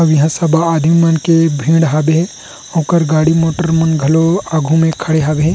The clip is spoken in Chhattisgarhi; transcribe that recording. अऊ यहाँ सबा आदमी मन के भीड़ हवे हे ओकर गाड़ी मोटर मन घलो आघू मे खड़े हवे हे।